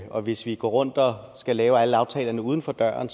og hvis vi går rundt og skal lave alle aftalerne uden for døren